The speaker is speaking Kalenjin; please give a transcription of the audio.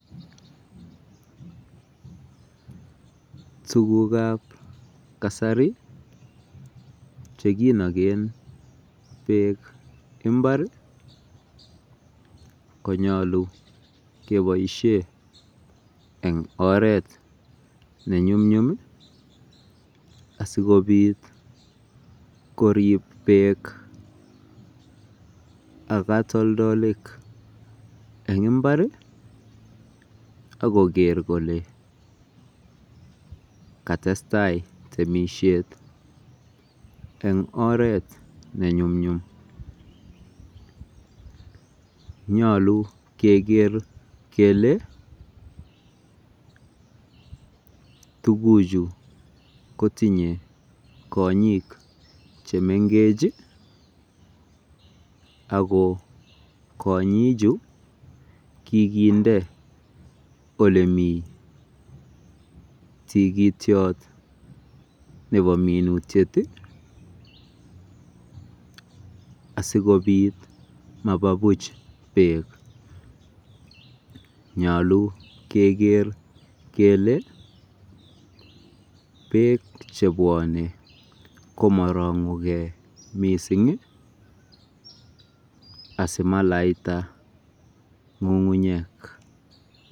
Tugugab kasari chekinoken beek imbar konyolu keboisie eng oret nenyumnyum asikobiit korii beek ak kotoldolik eng imbar akoker kole katestai temisiet eng oret nenyumnyum. Nyolu keker kele tugucgu kotinye konyiik chemengech ako konyicchu kikinde olemi tikitiot nebo minutiet asikobiit maba buuch beek. Nyoolu keker kele beek chebwone komorong'ukei mising asimalaita ng'ung'unyek.